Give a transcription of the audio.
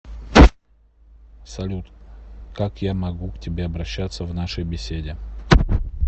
салют как я могу к тебе обращаться в нашей беседе